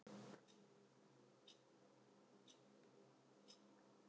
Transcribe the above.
Þórhildur Þorkelsdóttir: Hvað erum við þá að tala um?